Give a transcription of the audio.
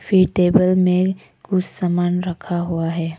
वे table में कुछ सामान रखा हुआ है।